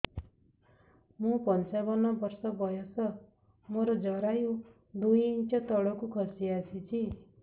ମୁଁ ପଞ୍ଚାବନ ବର୍ଷ ବୟସ ମୋର ଜରାୟୁ ଦୁଇ ଇଞ୍ଚ ତଳକୁ ଖସି ଆସିଛି